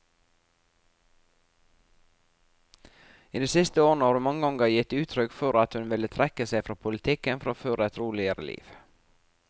I de siste årene har hun mange ganger gitt uttrykk for at hun ville trekke seg fra politikken for å føre et roligere liv.